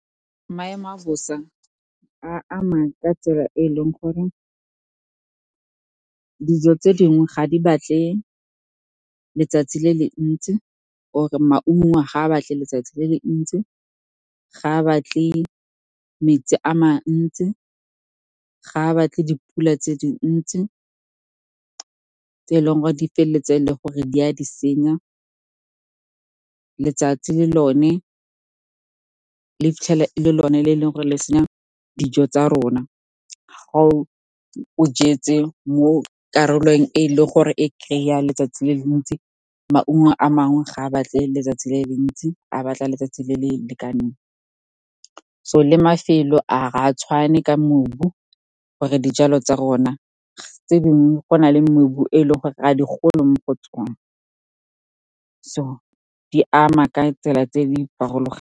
Maemo a bosa a ama ka tsela e e leng gore dijo tse dingwe ga di batle letsatsi le le ntsi or-e maungo a ga a batle letsatsi le le ntsi, ga a batle metsi a mantsi, ga batle dipula tse dintsi, tse e leng gore di feleletse e le gore di a di senya. Letsatsi le lone le fitlhela ele lone le ore le lone le senya dijo tsa rona. Ga o jetse mo karolong e leng gore e kry-a letsatsi le le ntsi, maungo a mangwe ga a batle letsatsi le le mentsi, a batla letsatsi le le lekaneng. So le mafelo ga a tshwane ka mobu, tse dingwe go na le mobu e leng gore ga di gole mo go tsone, so di ama ka tsela tse di farologaneng.